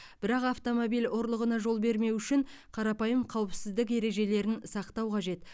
бірақ автомобиль ұрлығына жол бермеу үшін қарапайым қауіпсіздік ережелерін сақтау қажет